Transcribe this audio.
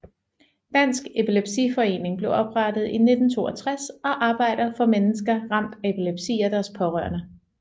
Dansk Epilepsiforening blev oprettet i 1962 og arbejder for mennesker ramt af epilepsi og deres pårørende